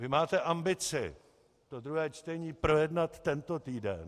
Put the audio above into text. Vy máte ambici to druhé čtení projednat tento týden.